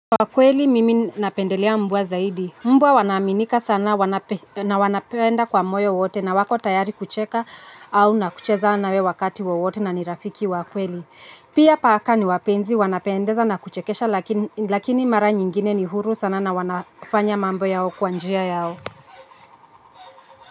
Kwa kweli mimi napendelea mvua zaidi. Mbwa wanaaminika sana na wanapenda kwa moyo wote na wako tayari kucheka au nakucheza nawe wakati wowote na ni rafiki wa kweli. Pia paka ni wapenzi, wanapendeza na kuchekesha lakini mara nyingine ni huru sana na wanafanya mambo yao kwa njia yao.